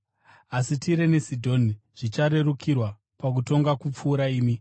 Asi Tire neSidhoni zvicharerukirwa pakutongwa kupfuura imi.